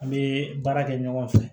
An bɛ baara kɛ ɲɔgɔn fɛ